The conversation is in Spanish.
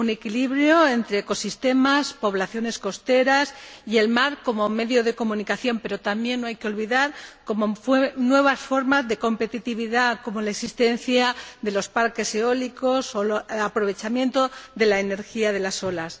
Un equilibrio entre ecosistemas, poblaciones costeras y el mar como medio de comunicación, pero tampoco hay que olvidar nuevas formas de competitividad, como la existencia de los parque eólicos o el aprovechamiento de la energía de las olas.